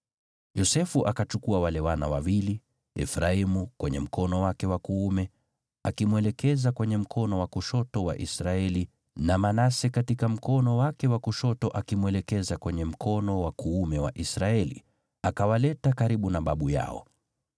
Yosefu akachukua wale wana wawili, Efraimu kwenye mkono wake wa kuume akimwelekeza kwenye mkono wa kushoto wa Israeli, na Manase katika mkono wake wa kushoto akimwelekeza kwenye mkono wa kuume wa Israeli, akawaleta karibu na babu yao.